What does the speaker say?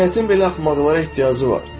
Cəmiyyətin belə axmaqlara ehtiyacı var.